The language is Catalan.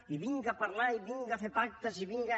i vinga parlar i vinga fer pactes i vinga